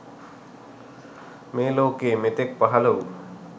මේ ලෝකයේ මෙතෙක් පහළ වූ